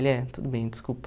Ele é. Tudo bem, desculpa.